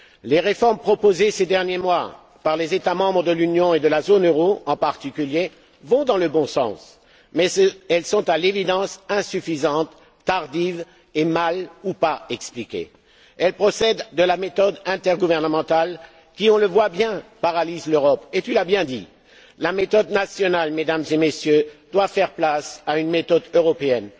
Les réformes proposées ces derniers mois par les États membres de l'Union et de la zone euro, en particulier, vont dans le bon sens. Mais elles sont, à l'évidence, insuffisantes, tardives et mal ou non expliquées. Elles procèdent de la méthode intergouvernementale qui on le voit bien paralyse l'Europe, tu l'as bien dit. La méthode nationale, Mesdames et Messieurs, doit faire place à une méthode européenne.